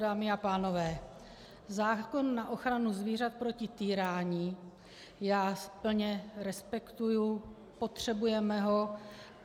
Dámy a pánové, zákon na ochranu zvířat proti týrání já plně respektuji, potřebujeme ho.